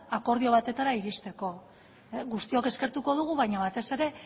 akordio batetara iristeko guztiok eskertuko dugu baina batez ere